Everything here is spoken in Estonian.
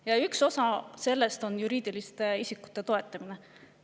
Ja üks osa sellest on juriidiliste isikute toetamine.